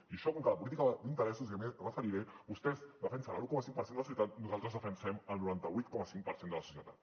i en això com que la política va d’interessos i jo m’hi referiré vostès defensen l’un coma cinc per cent de la societat nosaltres defensem el noranta vuit coma cinc per cent de la societat